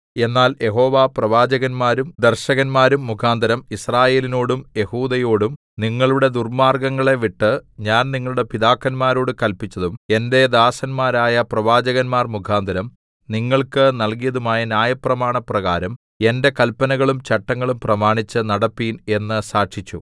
എന്നാൽ യഹോവ പ്രവാചകന്മാരും ദർശകന്മാരും മുഖാന്തരം യിസ്രായേലിനോടും യെഹൂദയോടും നിങ്ങളുടെ ദുർമ്മാർഗ്ഗങ്ങളെ വിട്ട് ഞാൻ നിങ്ങളുടെ പിതാക്കന്മാരോട് കല്പിച്ചതും എന്റെ ദാസന്മാരായ പ്രവാചകന്മാർ മുഖാന്തരം നിങ്ങൾക്ക് നൽകിയതുമായ ന്യായപ്രമാണപ്രകാരം എന്റെ കല്പനകളും ചട്ടങ്ങളും പ്രമാണിച്ച് നടപ്പിൻ എന്ന് സാക്ഷിച്ചു